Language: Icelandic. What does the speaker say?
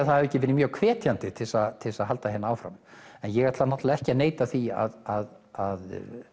það var ekki mjög hvetjandi til að til að halda hér áfram ég ætla ekki að neita því að